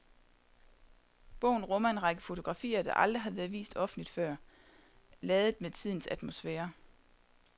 Bogen rummer en række fotografier der aldrig har været vist offentligt før, ladet med tidens atmosfære.